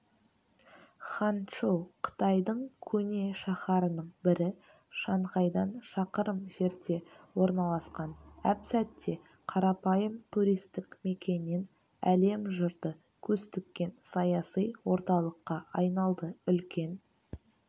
ханчжоу қытайдың көне шаһарының бірі шанхайдан шақырым жерде орналасқан әп-сәтте қарапайым туристік мекеннен әлем жұрты көз тіккен саяси орталыққа айналды үлкен